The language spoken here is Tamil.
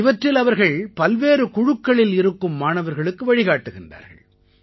இவற்றில் அவர்கள் பல்வேறு குழுக்களில் இருக்கும் மாணவர்களுக்கு வழிகாட்டுகிறார்கள்